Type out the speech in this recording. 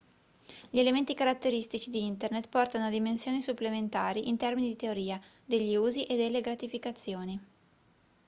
gli elementi caratteristici di internet portano a dimensioni supplementari in termini di teoria degli usi e delle gratificazioni